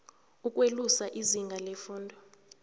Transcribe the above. ukwelusa izinga lefundo